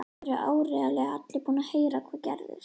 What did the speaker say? Það eru áreiðanlega allir búnir að heyra hvað gerðist.